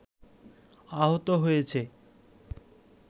আহত হয়েছে